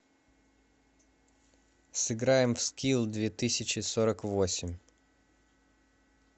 сыграем в скил две тысячи сорок восемь